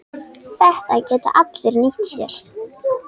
Þetta geta allir nýtt sér.